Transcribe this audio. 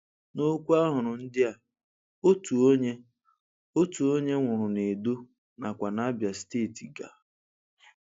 Na okwu ahụrụ ndị a, otu onye, otu onye nwụrụ n' Edo nakwa n'Abia steeti ga.